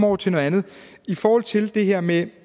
over til noget andet i forhold til det her med